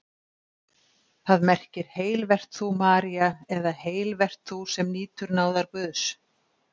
Það merkir: Heil vert þú, María eða Heil vert þú, sem nýtur náðar Guðs.